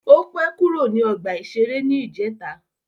Ó pẹ́ kúrò ní ọgbà-ìṣeré ní ìjẹta